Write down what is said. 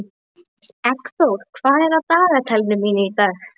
Eggþór, hvað er á dagatalinu mínu í dag?